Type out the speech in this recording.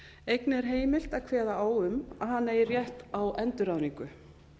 einnig er heimilt að kveða á um að hann eigi rétt á endurráðningu